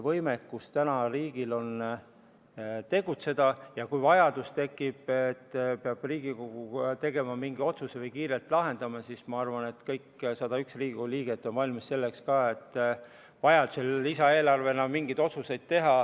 Nii et riigil on võimekus tegutseda ja kui tekib vajadus selleks, et Riigikogu peab tegema mingi otsuse või midagi kiirelt lahendama, siis ma arvan, et kõik 101 Riigikogu liiget on valmis ka selleks, kui on vaja teha mingeid lisaeelarve otsuseid.